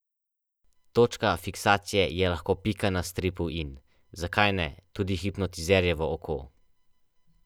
Z akcijo Izlet za pet želijo organizatorji v teh težkih časih vsaj za en dan izbrisati skrbi z otroških obrazov in nanje narisati nasmeh.